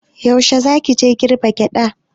Yaushe za ki je girbe gyaɗa?